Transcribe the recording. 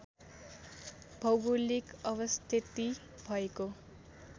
भौगोलिक अवस्थिति भएको